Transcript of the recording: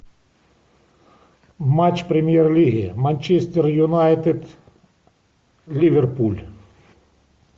матч премьер лиги манчестер юнайтед ливерпуль